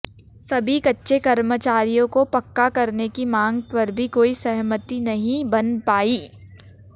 सभी कच्चे कर्मचारियों को पक्का करने की मांग पर भी कोई सहमति नहीं बन पाई